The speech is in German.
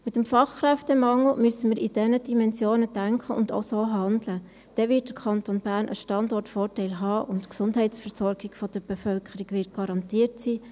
Aufgrund des Fachkräftemangels müssen wir in diesen Dimensionen denken und auch so handeln, dann wird der Kanton Bern einen Standortvorteil haben, und die Gesundheitsversorgung der Bevölkerung wird garantiert sein.